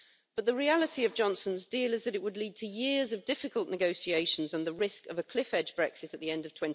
But the reality of Johnson's deal is that it would lead to years of difficult negotiations and the risk of a cliff-edge Brexit at the end of